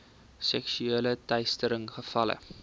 seksuele teistering gevalle